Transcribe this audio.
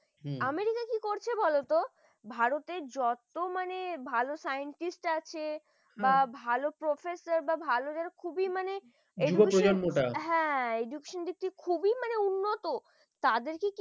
হম America কি করছে বলতো ভারতের যত মানে ভালো scientist আছে হম বা ভালো professor বা ভালো খুবই মানে জীবের প্রজননটা হ্যাঁ হ্যাঁ education দিকটা খুবই মানে উন্নত তাদেরকে কি